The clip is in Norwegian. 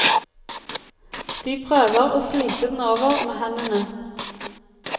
De prøver å slite den over med hendene.